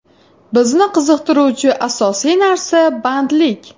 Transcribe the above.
Bizni qiziqtiruvchi asosiy narsa bandlik.